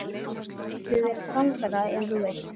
Þú getur verið samferða ef þú vilt.